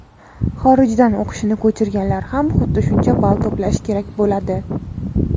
xorijdan o‘qishini ko‘chirganlar ham xuddi shuncha ball to‘plashi kerak bo‘ladi.